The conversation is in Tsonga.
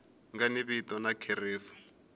nga ni vito na kherefu